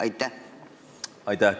Aitäh!